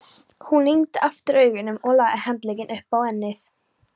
Hún lygndi aftur augunum og lagði handlegginn upp á ennið.